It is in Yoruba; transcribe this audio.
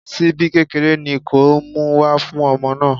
Ṣíbí kékeré ni kó o mú wá fún ọmọ náà.